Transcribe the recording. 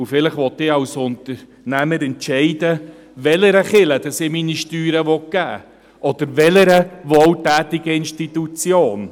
Vielleicht will ich als Unternehmer entscheiden, welcher Kirche ich meine Steuern geben will, oder welcher wohltätigen Institution.